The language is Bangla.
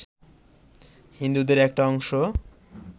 হিন্দুদের একটা অংশ